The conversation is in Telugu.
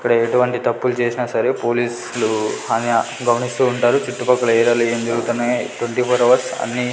ఇక్కడ ఎటువంటి తప్పులు చేసినా సరే పోలీస్ లు అన్నీ గమనిస్తూ ఉంటారు చుట్టుపక్కల ఏరియా లో ఏం జరుగుతున్నాయి ట్వంటి ఫోర్ హవర్స్ అన్నీ.